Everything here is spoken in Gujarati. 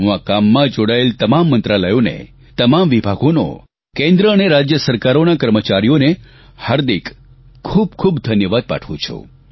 હું આ કામમાં જોડાયેલ તમામ મંત્રાલયોને તમામ વિભાગોનો કેન્દ્ર અને રાજ્ય સરકારોના કર્મચારીઓને હાર્દિક ખૂબખૂબ ધન્યવાદ પાઠવું છું